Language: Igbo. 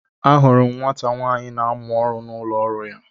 Ahụrụ m nwata nwaanyị na amụ ọrụ n'ụlọ ọrụ ya.